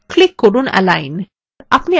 click করুন align